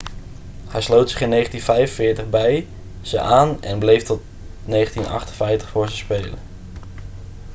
hij sloot zich in 1945 bij ze aan en bleef tot 1958 voor ze spelen